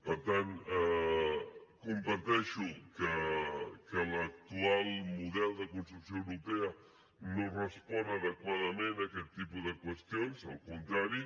per tant comparteixo que l’actual model de construcció europea no respon adequadament a aquest tipus de qüestions al contrari